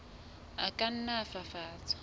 a ka nna a fafatswa